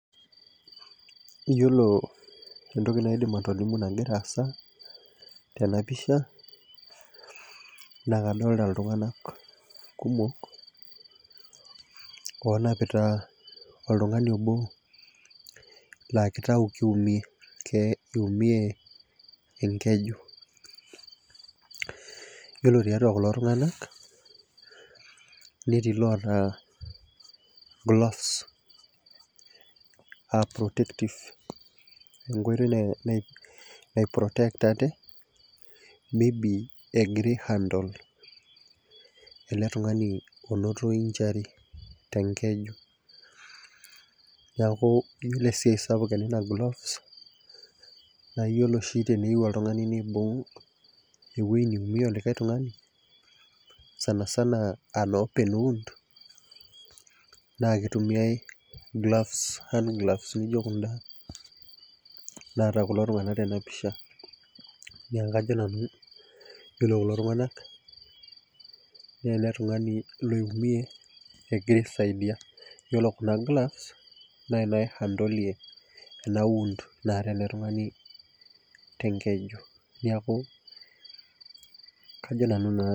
Yiolo entoki naidim atolimu nagira aasa tenapisha na kadolta ltunganak kumok onapita oltungani abo lakitau kiunie enkeju ore tiatua kulo tunganak netii llata gloves a enkoitoi nai protectie ate egira handle ele tungani onoto injury tenkeju iyolo esiai sapuk enye na teneyieu oltungani nibung ewoi niumie likae tungani sanisana an open wound na kitumia hand gloves nijo kuna naata kulo tunganak tenapisha neaku ajo nanu ore kulo tunganak na eletungani oiumie egira aisaidia naata elebtungani tenkeju neaku ajo nanu.